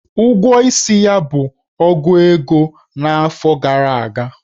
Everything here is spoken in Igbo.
Ụgwọ isi ya bụ ogu ego n'afọ gara aga.